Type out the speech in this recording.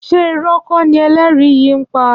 Ṣé ìrọ́ kọ́ ni ẹlẹ́rìí yìí ń pa?